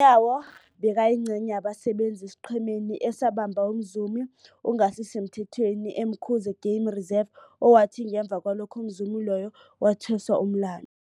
Nyawo bekayingcenye yabasebenza esiqhemeni esabamba umzumi ongasisemthethweni e-Umkhuze Game Reserve, owathi ngemva kwalokho umzumi loyo wathweswa umlandu.